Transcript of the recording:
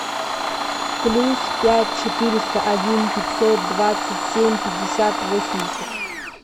плюс пять четыреста один пятьсот двадцать семь пятьдесят восемьдесят